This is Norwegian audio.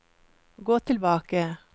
gå tilbake